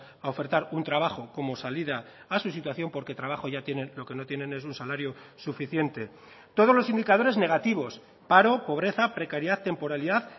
a ofertar un trabajo como salida a su situación porque trabajo ya tienen lo que no tienen es un salario suficiente todos los indicadores negativos paro pobreza precariedad temporalidad